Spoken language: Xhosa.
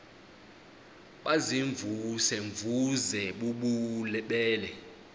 baziimvuze mvuze bububele